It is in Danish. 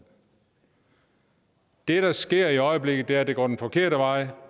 det der sker i øjeblikket er at det går den forkerte vej